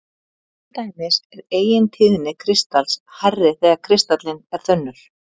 Til dæmis er eigintíðni kristals hærri þegar kristallinn er þunnur.